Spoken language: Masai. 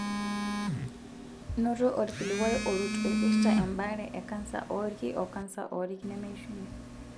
Noto olkilikuai orut oipirta embaare e kansa oolki o kansa oolki nemeishunye.